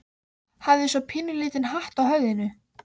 Hafði svo pínulítinn hatt á höfðinu.